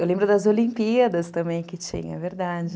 Eu lembro das Olimpíadas também que tinha, é verdade.